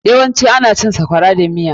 Ana yawancin cin sakwara da stew.